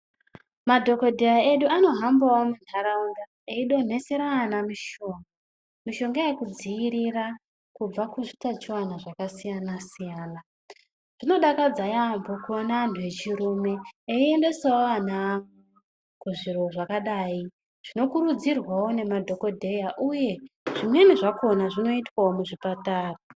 Madhokodheya edu anohambawo muntaraunda eidonhesera ana mushonga. Mushonga yekudziirira kubva muzvitachiwana zvakasiyana siyana. Zvinodakadza yaambo kuona antu echirume achiendesawo ana awo kuzviro zvakadai. Zvinokurudzirwawo nemadhokodheya uye zvimweni zvakona zvinoitwawo muchipatara.